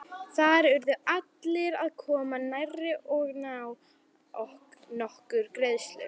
Þar urðu allir að koma nærri og án nokkurrar greiðslu.